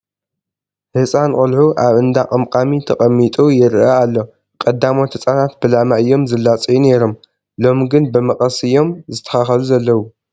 ህፃን ቆልዑ ኣብ እንዳ ቀምቃሚ ተቐሚጡ ይርአ ኣሎ፡፡ ቀዳሞት ህፃናት ብላማ እዮም ዝላፀዩ ነይሮም፡፡ ሎሚ ግን ብመቐስ እዮም ዝስተኻኸሉ ዘለዉ፡፡